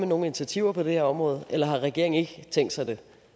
nogen initiativer på det her område eller regeringen ikke har tænkt sig